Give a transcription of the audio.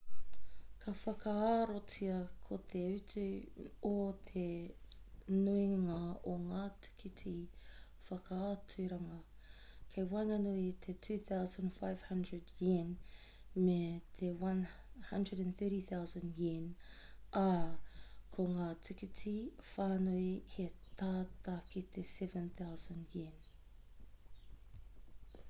ka whakaarotia ko te utu o te nuinga o ngā tīkiti whakaaturanga kei waenganui i te 2,500 yen me te 130,000 yen ā ko ngā tīkiti whānui he tata ki te 7,000 yen